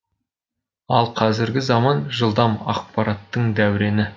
ал қазіргі заман жылдам ақпараттың дәурені